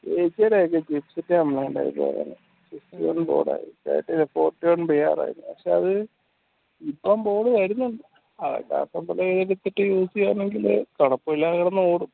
complaint ആയിപ്പോയതായിരുന്നു fourty one ആയിരുന്നു പക്ഷേ അത് ഇപ്പം board വരുന്നുണ്ട് use ചെയ്യാമെങ്കിൽ കുഴപ്പമില്ലാതെ കിടന്നോടും